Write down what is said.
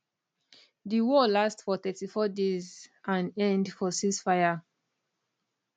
di war last for 34 days and end for ceasefire